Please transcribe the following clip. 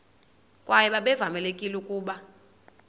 kwaye babevamelekile ukuba